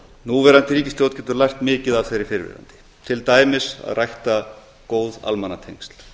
núverandi ríkisstjórn getur lært mikið af þeirri fyrrverandi til dæmis að rækta góð almannatengsl